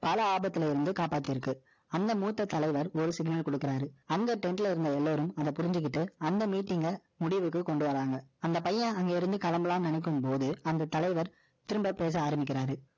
பல ஆபத்துல இருந்து, காப்பாத்தி இருக்கு அந்த மூத்த தலைவர், ஒரு signal கொடுக்குறாரு. அந்த trend ல இருந்த எல்லாரும், அதை புரிஞ்சுகிட்டு, அந்த meeting அ, முடிவுக்கு கொண்டு வர்றாங்க. அந்த பையன், அங்கே இருந்து, கிளம்பலாம்ன்னு, நினைக்கும் போது, அந்த தலைவர், திரும்ப பேச ஆரம்பிக்கிறாரு.